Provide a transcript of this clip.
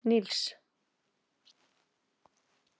Nils